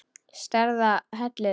Stærðar hellir?